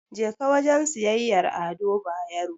Jeka wajen siyayyar Ado Bayero.